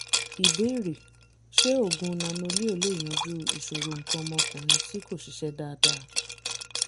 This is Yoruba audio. ìbéèrè: ṣé oògùn nano-leo lè yanjú ìṣòro nǹkan ọmọkùnrin tí kò ṣiṣẹ́ dáadáa?